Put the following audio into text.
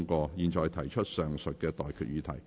我現在向各位提出上述待決議題。